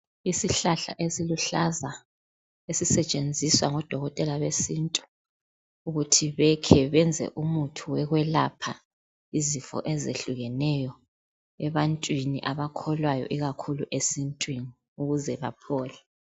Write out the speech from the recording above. Isihlahla esiluhlaza esisetshenziswa ngodokotela besintu ukuthi bekhe benze umuthi wokwelapha izifo ezehlukeneyo ebantwini abakholwayo ikakhulu esintwini ukuze baphole